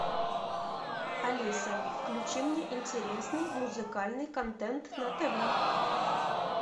алиса включи мне интересный музыкальный контент на тв